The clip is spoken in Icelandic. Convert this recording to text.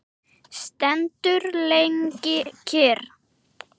Stendur lengi kyrr.